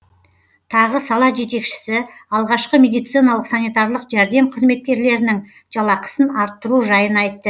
тағы сала жетекшісі алғашқы медициналық санитарлық жәрдем қызметкерлерінің жалақысын арттыру жайын айтты